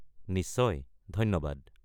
নিশ্চয়, ধন্যবাদ!